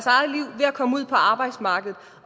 komme ud på arbejdsmarkedet